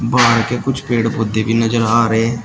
बाहर के कुछ पेड़ पौधे भी नजर आ रहे--